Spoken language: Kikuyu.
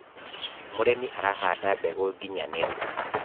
mũrĩmi arahanda mbegũ nginyanĩru